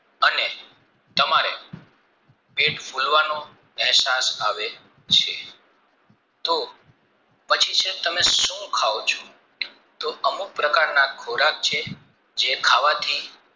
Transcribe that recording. પેટ ફૂલવાં અહેસાસ આવે છે તો પછી તમે સુખાવ ચો તો અમુક પ્રકારના ખોરાક છે જે ખાવાથી